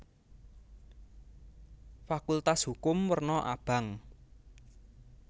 Fakultas Hukum werna abang